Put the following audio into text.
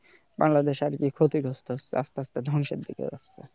বাংলাদেশ আরকি ক্ষতিগ্রস্থ হচ্ছে আস্তে আস্তে ধ্বংসের দিকে যাচ্ছে